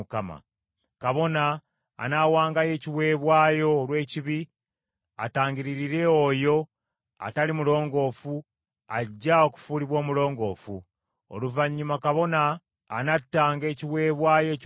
Kabona anaawangayo ekiweebwayo olw’ekibi, atangiririre oyo atali mulongoofu ajja okufuulibwa omulongoofu. Oluvannyuma kabona anattanga ekiweebwayo ekyokebwa,